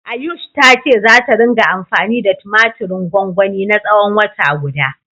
Ayush ta ce zata ringa anfani da tumatirin gwangwanin na tsawon wata guda.